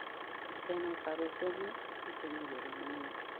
Temo paro somo kitemo yore manyien